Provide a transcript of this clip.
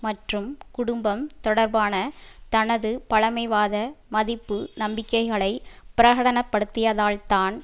மற்றும் குடும்பம் தொடர்பான தனது பழமைவாத மதிப்பு நம்பிக்கைகளை பிரகடனப்படுத்தியதால்தான்